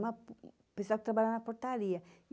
Uma pessoal que trabalha na portaria.